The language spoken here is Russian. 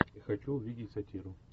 хочу увидеть сатиру